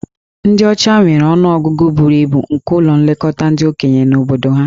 Ndị ọcha nwere ọnụ ọgụgụ buru ibu nke ụlọ nlekọta ndị okenye na obodo ha.